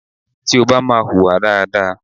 Tí o bá máa hùwà dáadáa.